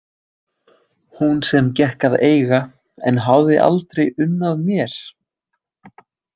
Hún sem ég gekk að eiga en hafði aldrei unnað mér?